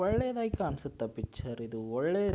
ಒಳ್ಳೆದಾಗಿ ಕಾಣ್ಸತ್ತಾ ಪಿಕ್ಚರ್ ಇದು ಒಳ್ಳೆ --